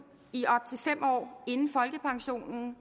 i op til fem år inden folkepensionen